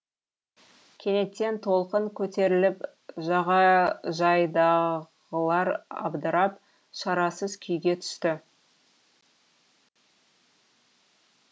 кенеттен толқын көтеріліп жағажайдағылар абдырап шарасыз күйге түсті